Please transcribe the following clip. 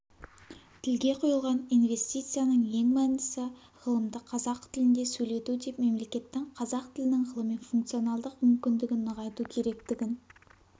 тілге құйылған инвестицияның ең мәндісі ғылымды қазақ тілінде сөйлету деп мемлекеттің қазақ тілінің ғылыми функционалдық мүмкіндігін нығайту керектігін